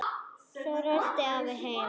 Svo rölti afi heim.